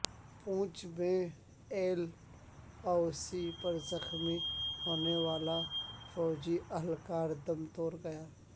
پونچھ میں L O C پر زخمی ہونے والا فوجی اہلکار دم توڑ گیا